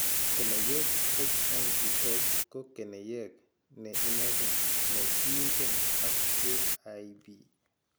Keneyeek HMBS ko keneyeek ne inegen ne kiingen ak AIP.